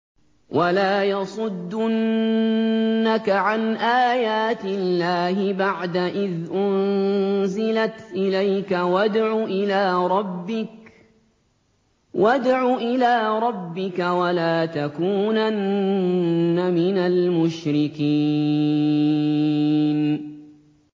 وَلَا يَصُدُّنَّكَ عَنْ آيَاتِ اللَّهِ بَعْدَ إِذْ أُنزِلَتْ إِلَيْكَ ۖ وَادْعُ إِلَىٰ رَبِّكَ ۖ وَلَا تَكُونَنَّ مِنَ الْمُشْرِكِينَ